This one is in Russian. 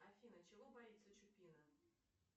афина чего боится чупина